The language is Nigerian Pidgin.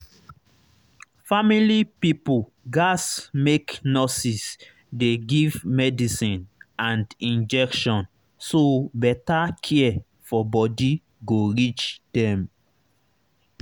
family pipo gats make nurses dey give medicine and injection so better care for body go reach dem